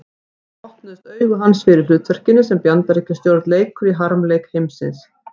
Þá opnuðust augu hans fyrir hlutverkinu sem Bandaríkjastjórn leikur í harmleik heimsins.